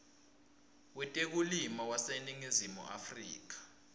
wetekulima waseningizimu afrika